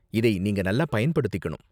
இதை நீங்க நல்லா பயன்படுத்திக்கணும்.